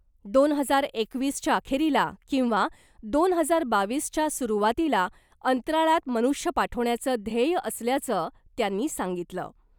दोन हजार एकवीसच्या अखेरीला , किंवा दोन हजार बावीसच्या सुरवातीला अंतराळात मनुष्य पाठवण्याचं ध्येय असल्याचं त्यांनी सांगितलं .